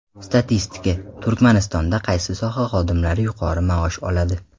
Statistika: Turkmanistonda qaysi soha xodimlari yuqori maosh oladi?.